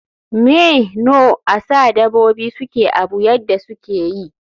Me know asa dabobi suke Abu yadda sukeyi?